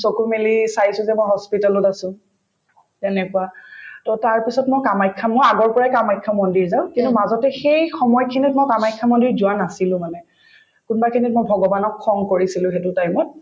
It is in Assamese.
চকু মেলি চাইছো যে মই hospital ত আছো তেনেকুৱা to তাৰপিছত মই কামাখ্যা মই আগৰ পৰায়ে কামাখ্যা মন্দিৰ যাওঁ কিন্তু মাজতে সেই সময়খিনিত মই কামাখ্যা মন্দিৰ যোৱা নাছিলো মানে কোনোবাখিনিত মই ভগৱানক খং কৰিছিলো সেইটো time ত